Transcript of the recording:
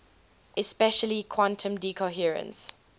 especially quantum decoherence